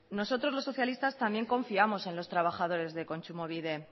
nosotros los socialistas también confiamos en los trabajadores de kontsumobide